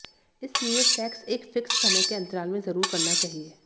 इसलिए सेक्स एक फिक्स समय के अंतराल में जरुर करना चाहिए